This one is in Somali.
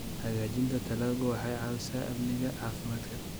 Hagaajinta dalaggu waxay caawisaa amniga caafimaadka.